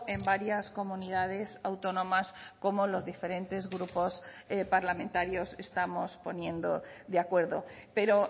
en varias comunidades autónomas como los diferentes grupos parlamentarios estamos poniendo de acuerdo pero